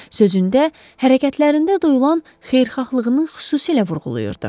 Sözündə hərəkətlərində duyulan xeyirxahlığının xüsusilə vurğulayırdı.